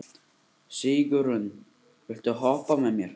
Sigurunn, viltu hoppa með mér?